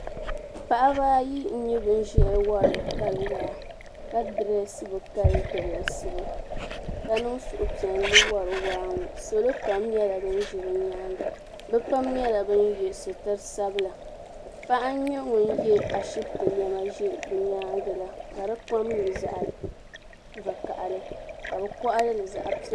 Paɣa ba ayi n nyɛ ban ziya n wari bikali waa. kadiresi bikali dreesibu. ka niŋ suhi piɛli n wari waa ŋɔ salo pam nyɛla banzi bi nyaaŋa bipam nyɛla ban ye sitrisabila paɣa n nyɛ ŋun ye ashibiti nema nze bi nyaaŋa la kadi kom nyɛ zaɣi vakahili kabi koɣili zaɣi piɛli.